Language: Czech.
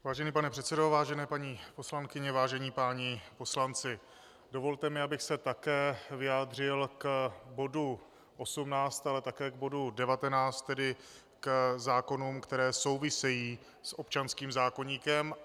Vážený pane předsedo, vážené paní poslankyně, vážení páni poslanci, dovolte mi, abych se také vyjádřil k bodu 18, ale také k bodu 19, tedy k zákonům, které souvisejí s občanským zákoníkem.